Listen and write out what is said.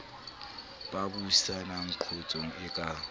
ba buisanang qotsong e ka